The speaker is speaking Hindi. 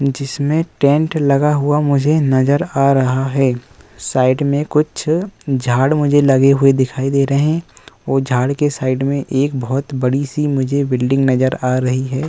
जिसमें टेंट लगा हुआ मुझे नज़र आ रहा है। साइड में कुछ झाड़ मुझे लगे हुए दिखाई दे रहे हैं और झाड़ के साइड में एक बहोत बडी सी मुझे बिल्डिंग नज़र आ रही है।